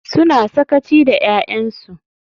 Suna sakaci da 'ya'yansu.